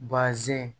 Bazɛn